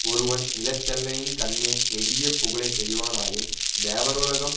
ஒருவன் நிலத்தெல்லையின் கண்ணே நெடிய புகழைச் செய்வனாயின் தேவருலகம்